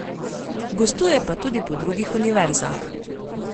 Gostuje pa tudi po drugih univerzah.